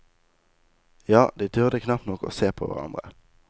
Ja, de turde knapt nok å se på hverandre.